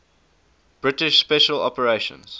british special operations